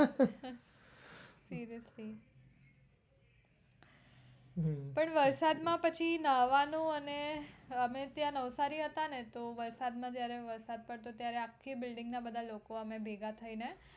seriously તો વરસાદ માં પછી નાવાનું અને અમે ત્યાં નવસારી હતા ને તો વરસાદ માં જયારે વરસાદ પડતો ત્યારે આખી building માં બધા લોકો અમે ભેગા થઈને